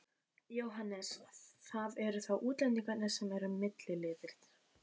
Jóhannes: Það eru þá útlendingarnir sem eru milliliðir?